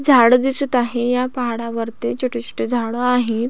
झाड दिसत आहे या पहाडावरती वरती छोटी छोटी झाड आहेत.